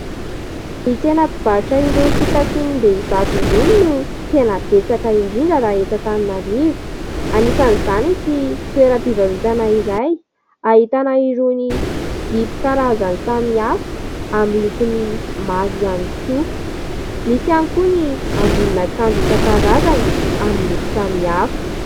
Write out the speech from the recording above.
Ny tsena mpivarotra irony fitafiam-behivavy irony no tena betsaka indrindra raha eto Antananarivo. Anisan'izany ity toeram-pivarotana iray ahitana irony zipo karazany samihafa amin'ny lokony maro ihany koa. Misy ihany koa ny ambonin'akanjo isan-karazany amin'ny loko samihafa.